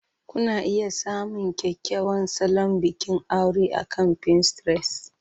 Kuna iya samun kyakkyawan salon bikin aure akan Pinterest.